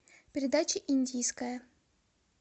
передача индийское